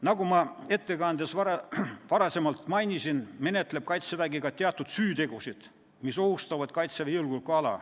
Nagu ma ettekandes varem mainisin, menetleb Kaitsevägi ka teatud süütegusid, mis ohustavad Kaitseväe julgeolekuala.